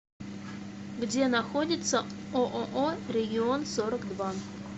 где находится ооо регион сорок два